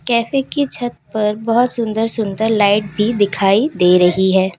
Cafe की छत पर बोहोत सुंदर-सुंदर लाइट भी दिखाई दे रही है।